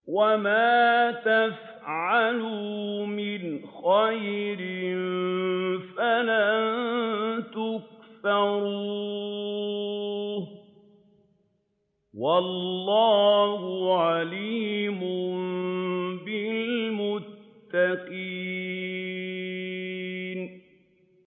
وَمَا يَفْعَلُوا مِنْ خَيْرٍ فَلَن يُكْفَرُوهُ ۗ وَاللَّهُ عَلِيمٌ بِالْمُتَّقِينَ